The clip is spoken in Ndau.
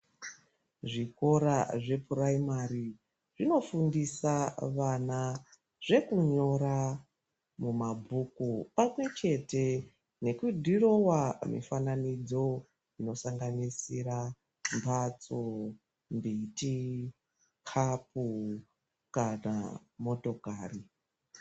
Zvikora zvepuraimari zvinofundisa vana zvekunyora mumabhuku pamwe chete nekudhirawo mifananidzo inosanganisira mhatso miti kapu kana motokari.